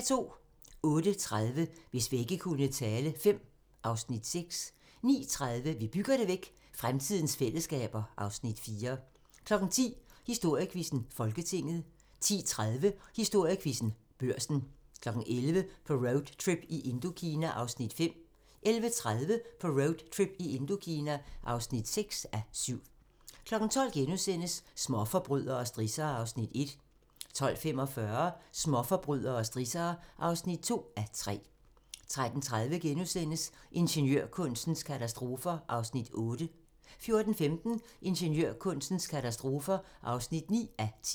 08:30: Hvis vægge kunne tale V (Afs. 6) 09:30: Vi bygger det væk – fremtidens fællesskaber (Afs. 4) 10:00: Historiequizzen: Folketinget 10:30: Historiequizzen: Børsen 11:00: På roadtrip i Indokina (5:7) 11:30: På roadtrip i Indokina (6:7) 12:00: Småforbrydere og strissere (1:3)* 12:45: Småforbrydere og strissere (2:3) 13:30: Ingeniørkunstens katastrofer (8:10)* 14:15: Ingeniørkunstens katastrofer (9:10)